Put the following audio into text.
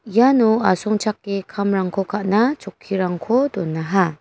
iano asongchake kamrangko ka·na chokkirangko donaha.